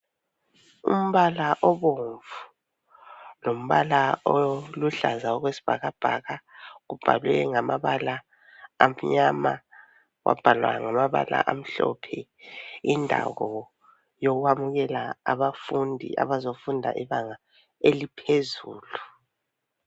Umbala obomvu lombala oluhlaza okwesibhakabhaka, kubhalwe ngamabala amnyama, kwabhalwa ngamabala amhlophe. Yindawo yokwamukela abafundi abazofunda ibanga eliphezulu.